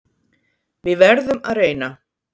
Við verðum að reyna